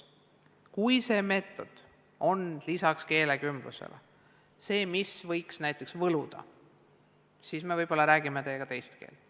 Kui see meetod on lisaks keelekümblusele see, mis võiks näiteks võluda, siis me võib-olla räägime teiega teist keelt.